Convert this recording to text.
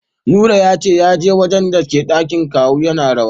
Nura yace yaji gadon dake dakin kawu yana rawa